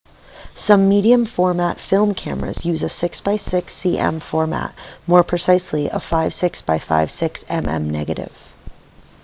some medium-format film cameras use a 6 by 6 cm format more precisely a 56 by 56 mm negative